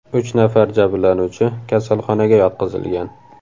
Uch nafar jabrlanuvchi kasalxonaga yotqizilgan.